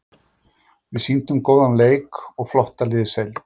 Við sýndum góðan leik og flotta liðsheild.